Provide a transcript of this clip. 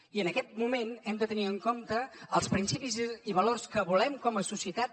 i en aquest moment hem de tenir en compte els principis i valors que volem com a societat